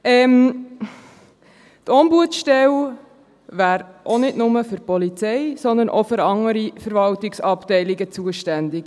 Die Ombudsstelle wäre auch nicht nur für die Polizei, sondern auch für andere Verwaltungsabteilungen zuständig.